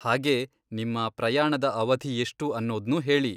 ಹಾಗೇ, ನಿಮ್ಮ ಪ್ರಯಾಣದ ಅವಧಿ ಎಷ್ಟು ಅನ್ನೋದ್ನೂ ಹೇಳಿ.